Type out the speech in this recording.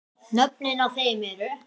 Nöfnin á þeim eru